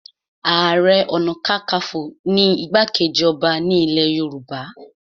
Ààrẹ ọ̀nàkakafo ni igbá-kejì ọba ní ilẹ̀ Yorùbá